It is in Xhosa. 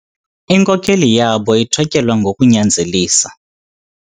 Inkokeli yabo ithotyelwa ngokunyanzelisa.